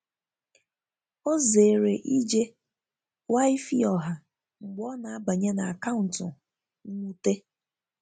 o zere ije Wi-Fi ọha mgbe ọna abanye n'akauntu mwute